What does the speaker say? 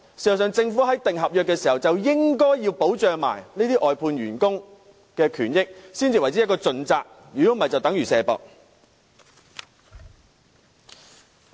事實上，政府訂立合約時，應該一併保障這些外判員工的權益，才算是盡責，否則便等於"卸膊"。